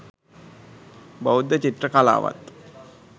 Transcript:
බෞද්ධ චිත්‍ර කලාවත්